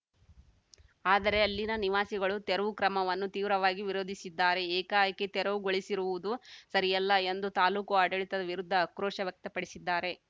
ಆದರೆ ಅಲ್ಲಿನ ನಿವಾಸಿಗಳು ತೆರವು ಕ್ರಮವನ್ನು ತೀವ್ರವಾಗಿ ವಿರೋಧಿಸಿದ್ದಾರೆ ಏಕಾಏಕಿ ತೆರವುಗೊಳಿಸಿರುವುದು ಸರಿಯಲ್ಲ ಎಂದು ತಾಲೂಕು ಆಡಳಿತದ ವಿರುದ್ಧ ಆಕ್ರೋಶ ವ್ಯಕ್ತಪಡಿಸಿದ್ದಾರೆ